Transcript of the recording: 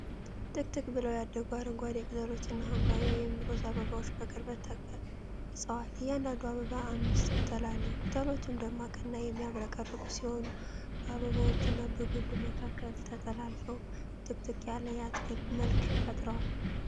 ጥቅጥቅ ብለው ያደጉ አረንጓዴ ቅጠሎችና ሐምራዊ (ሮዝ) አበባዎች በቅርበት ተቀርፀዋል። እያንዳንዱ አበባ አምስት ቅጠል አለው። ቅጠሎቹ ደማቅና የሚያብረቀርቁ ሲሆኑ፣ በአበባዎቹና በግንዱ መካከል ተጠላልፈው ጥቅጥቅ ያለ የአትክልት መልክ ፈጥረዋል።